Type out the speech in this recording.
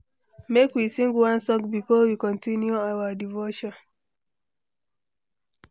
Make we sing one song before we continue our devotion.